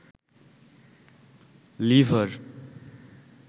liver